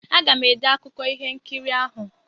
Aga m ede akụkụ ihe nkiri ahụ.